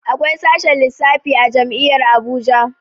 Akwai sashen lissafi a jami'ar Abuja